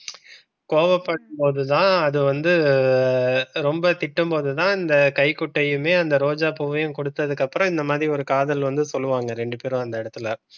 கோபப்படும் போது தான் அது வந்து ரொம்ப திட்டும் போது தான் இந்த கைகுட்டையுமே அந்த ரோஜா பூவையும் கொடுத்ததுக்கு அப்புறம் இந்த மாரி ஒரு காதல் வந்து சொல்லுவாங்க ரெண்டு பேரும் அந்த இடத்துல.